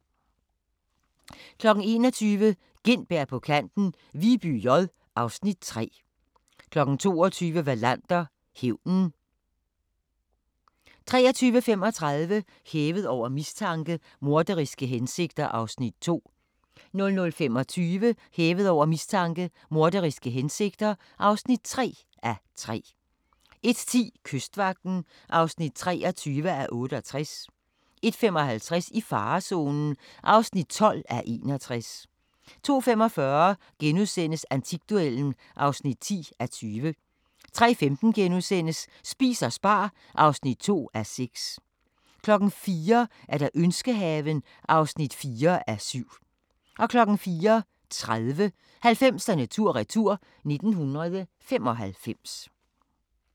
21:00: Gintberg på kanten – Viby J (Afs. 3) 22:00: Wallander: Hævnen 23:35: Hævet over mistanke: Morderiske hensigter (2:3) 00:25: Hævet over mistanke: Morderiske hensigter (3:3) 01:10: Kystvagten (23:68) 01:55: I farezonen (12:61) 02:45: Antikduellen (10:20)* 03:15: Spis og spar (2:6)* 04:00: Ønskehaven (4:7) 04:30: 90'erne tur-retur: 1995